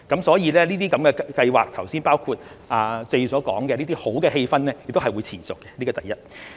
所以，這項計劃，包括剛才謝議員所說的好氣氛亦會持續，這是第一。